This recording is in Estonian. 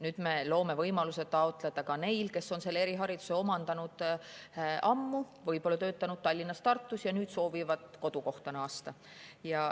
Nüüd me loome võimaluse seda taotleda ka neile, kes on erihariduse omandanud ammu, on võib-olla töötanud Tallinnas või Tartus ja soovivad kodukohta naasta.